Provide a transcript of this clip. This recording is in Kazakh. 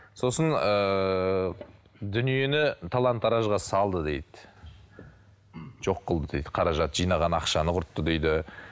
сосын ыыы дүниені талан таражға салды дейді жоқ қылды дейді қаражат жинаған ақшаны құртты дейді